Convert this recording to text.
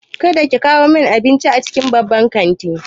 Kada ki kawo min abincin cikin babban kanti!